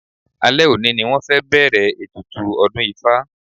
Alẹ́ òní ni wọ́n fẹ́ bẹ̀ẹ̀rẹ̀ ètùtù ọdún ifá.